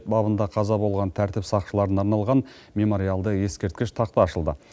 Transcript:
бабында қаза болған тәртіп сақшыларына арналған мемориалды ескерткіш тақта ашылды